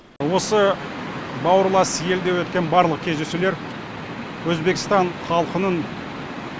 осы бауырлас елде өткен барлық кездесулер өзбекстан халқының